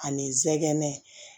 Ani zɛgɛnɛ